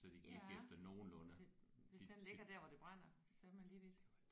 Ja det hvis den ligger der hvor det brænder så er man lige vidt